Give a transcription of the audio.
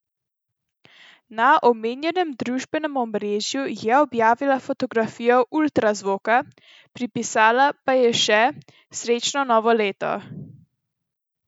Na omenjenem družbenem omrežju je objavila fotografijo ultrazvoka, pripisala pa je še: "Srečno novo leto!